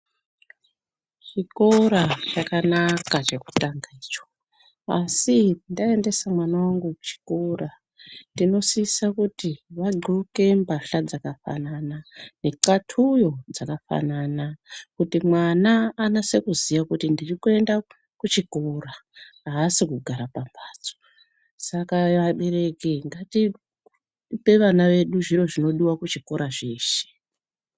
Chikora chakanaka chekutanga icho. Asi ndaendesa mwana wangu kuchikora ndinosisa kuti vadxoke mbahla dzakafanana, nexatuyo dzakafanana kuti mwana anase kuziya kuti ndiri kuenda kuchikora haasi kugara pambatso. Saka vabereki ngatipe vana vedu zviro zvinodiwa kuchikora zveshe.